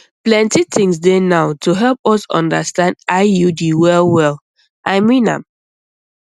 plenty things dey now to help us understand iud well well i mean am